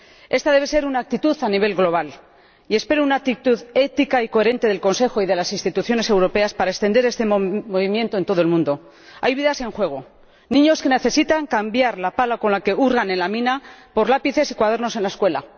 Esta debe ser una actitud a nivel global, y espero una actitud ética y coherente del Consejo y de las instituciones europeas para extender este movimiento en todo el mundo. Hay vidas en juego, niños que necesitan cambiar la pala con la que hurgan en la mina por lápices y cuadernos en la escuela.